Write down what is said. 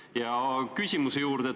Ja nüüd küsimuse juurde.